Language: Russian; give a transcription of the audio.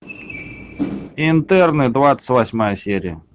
интерны двадцать восьмая серия